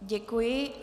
Děkuji.